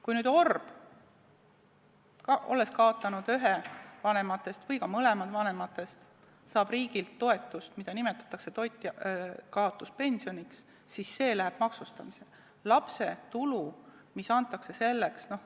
Kui orb, olles kaotanud ühe vanematest või mõlemad vanemad, saab riigilt toetust, mida nimetatakse toitjakaotuspensioniks, siis see läheb maksustamisele.